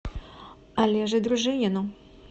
олеже дружинину